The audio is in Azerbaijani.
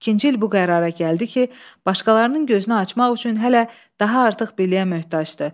İkinci il bu qərara gəldi ki, başqalarının gözünü açmaq üçün hələ daha artıq biliyə möhtacdır.